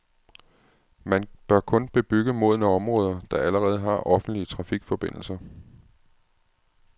Man bør kun bebygge modne områder, der allerede har offentlige trafikforbindelser.